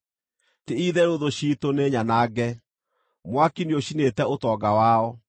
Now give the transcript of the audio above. ‘Ti-itherũ thũ ciitũ nĩnyanange, mwaki nĩũcinĩte ũtonga wao.’